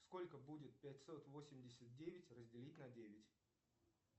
сколько будет пятьсот восемьдесят девять разделить на девять